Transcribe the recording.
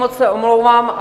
Moc se omlouvám.